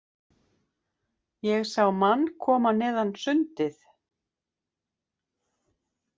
Ég sá mann koma neðan sundið.